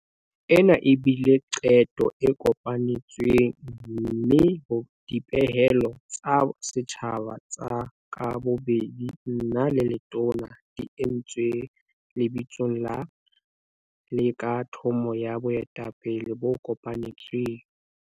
Ena e bile qeto e kopanetsweng mme dipehelo tsa setjhaba tsa ka bobedi nna le Letona di entswe lebitsong la, le ka thomo ya boetapele bo kopanetsweng.